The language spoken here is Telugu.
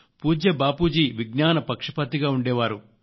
పూజ్య బాపూజీ విజ్ఞాన పక్షపాతిగా ఉండే వారు